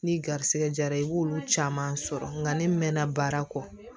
Ni garisɛgɛ jara i b'olu caman sɔrɔ nka ne mɛnna baara kɔ